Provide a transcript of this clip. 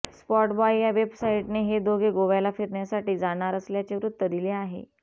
SpotboyE या वेबसाईटने हे दोघे गोव्याला फिरण्यासाठी जाणार असल्याचे वृत्त दिले आहे